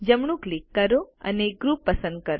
જમણું ક્લિક કરો અને ગ્રુપ પસંદ કરો